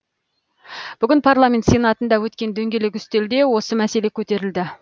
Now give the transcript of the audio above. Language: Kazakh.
бүгін парламент сенатында өткен дөңгелек үстелде осы мәселе көтерілді